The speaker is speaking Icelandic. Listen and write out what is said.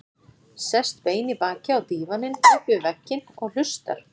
Sest bein í baki á dívaninn upp við vegginn og hlustar.